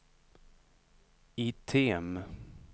item